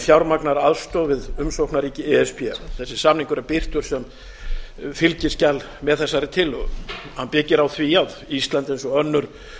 fjármagnar aðstoð við umsóknarríki e s b þessi samningur er birtur sem fylgiskjal með þessari tillögu hann byggir á því að ísland eins og önnur